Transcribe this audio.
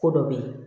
Ko dɔ bɛ ye